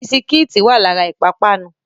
Bisikítì wá lára ìpápánu